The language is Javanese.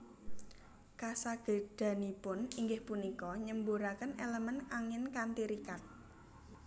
Kasagedanipun inggih punika nyemburaken elemen angin kanthi rikat